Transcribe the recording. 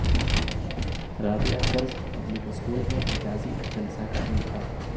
Rabia girls public school میں اعزازی جلسہ کا انعقاد